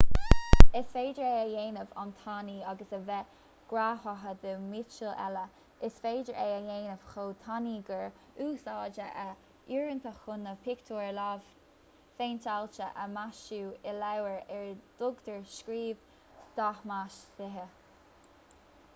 is féidir é a dhéanamh an-tanaí agus a bheith greamaithe de mhiotal eile is féidir é a dhéanamh chomh tanaí gur úsáideadh é uaireanta chun na pictiúir lámhphéinteáilte a mhaisiú i leabhair ar a dtugtar script dhathmhaisithe